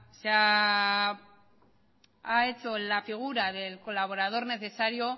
ha hecho la figura del colaborador necesario